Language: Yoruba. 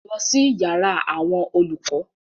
Lọ sí yàrá àwọn olùkọ́!